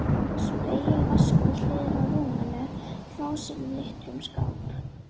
Spegill, vaskur við hliðina á rúminu, klósett í litlum skáp.